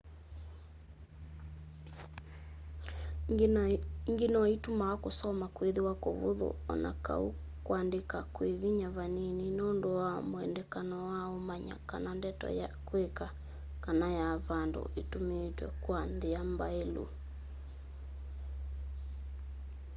ĩngĩ noĩtumaa kũsoma kwĩthĩwa kũvũthũ o na kau kwandĩka kwĩ vinya vanini nũndũ wa wendekano wa ũmanya kana ndeto ya kwĩka kana ya vandũ ĩtũmĩĩtwe kwa nthĩa mbaĩlu